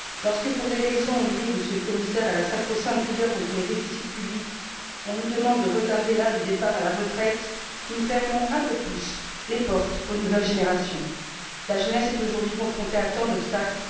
Lorsque, pour des raisons liées, Monsieur le Commissaire, à la sacro sainte rigueur contre les déficits publics, on nous demande de retarder l'âge du départ à la retraite, nous fermons un peu plus les portes aux nouvelles générations. La jeunesse est aujourd'hui confrontée à tant d'obstacles.